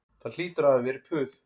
Það hlýtur að hafa verið puð